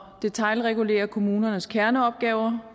detailregulere kommunernes kerneopgaver